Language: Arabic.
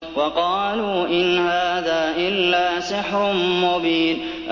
وَقَالُوا إِنْ هَٰذَا إِلَّا سِحْرٌ مُّبِينٌ